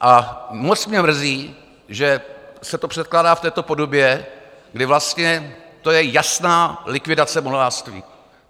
A moc mě mrzí, že se to předkládá v této podobě, kdy vlastně to je jasná likvidace modelářství.